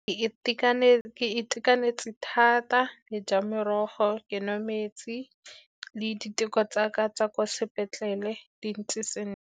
Ke itekanetse thata, ke ja merogo, ke nwa metsi, le diteko tsa tsa ka tsa kwa sepetlele di ntse sentle.